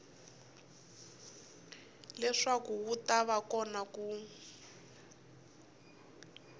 leswaku wu va kona ku